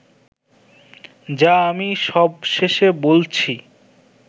যা আমি সবশেষে বলছি